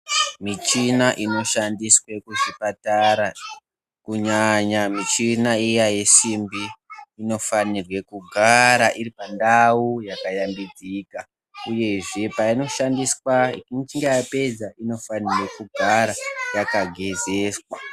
Michina inoshandiswe kuzvipatara, kunyanya michina iya yesimbi, inofanirwe kugara iripandawu yakayambidzika. Uyezve payinoshandiswa ichinge yapedza inofanira kugara yakagezeswa.